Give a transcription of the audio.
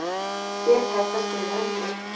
Hér er hægt að skrifa undir